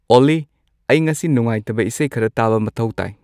ꯑꯣꯜꯂꯤ ꯑꯩ ꯉꯁꯤ ꯅꯨꯡꯉꯥꯏꯇꯕ ꯏꯁꯩ ꯈꯔ ꯇꯥꯕ ꯃꯊꯧ ꯇꯥꯏ